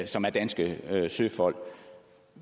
som er danske søfolk